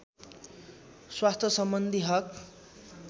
स्वास्थ्यसम्बन्धी हक